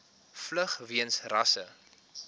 vlug weens rasse